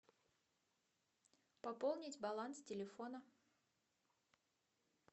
пополнить баланс телефона